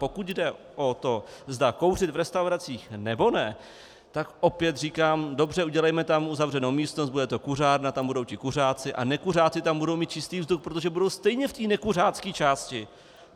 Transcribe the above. Pokud jde o to, zda kouřit v restauracích, nebo ne, tak opět říkám: dobře, udělejme tam uzavřenou místnost, bude to kuřárna, tam budou ti kuřáci a nekuřáci tam budou mít čistý vzduch, protože budou stejně v té nekuřácké části.